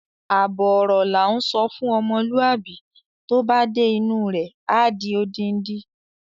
Àbọ̀ ọ̀rọ̀ la ńsọ fún ọmọlúwàbí, tó bá dé inú u rẹ̀, á di odindi.